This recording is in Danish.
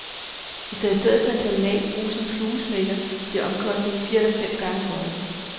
Hvis der i stedet for en terminal bruges en fluesmækker bliver omkostningen fire eller fem gange højere.